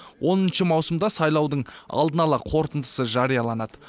оныншы маусымда сайлаудың алдын ала қорытындысы жарияланады